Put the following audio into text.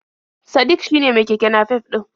Sadik shine mai keke nafef ɗin?